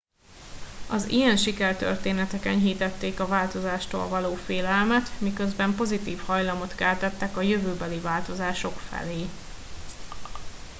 az ilyen sikertörténetek enyhítették a változástól való félelmet miközben pozitív hajlamot keltettek a jövőbeli változások felé